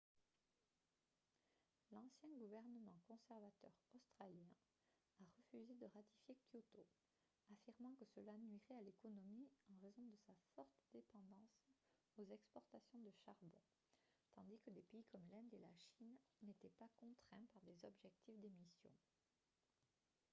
l'ancien gouvernement conservateur australien a refusé de ratifier kyoto affirmant que cela nuirait à l'économie en raison de sa forte dépendance aux exportations de charbon tandis que des pays comme l'inde et la chine n'étaient pas contraints par des objectifs d'émissions